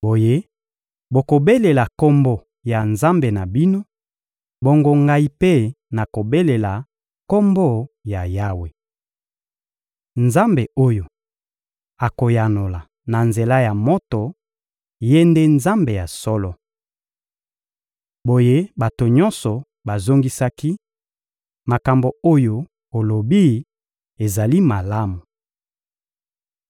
Boye bokobelela kombo ya nzambe na bino, bongo ngai mpe nakobelela Kombo ya Yawe. Nzambe oyo akoyanola na nzela ya moto, Ye nde Nzambe ya solo. Boye bato nyonso bazongisaki: — Makambo oyo olobi ezali malamu.